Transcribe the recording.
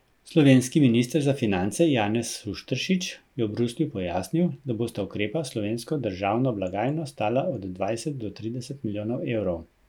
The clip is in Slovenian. Slovenski minister za finance Janez Šušteršič je v Bruslju pojasnil, da bosta ukrepa slovensko državno blagajno stala od dvajset do trideset milijonov evrov.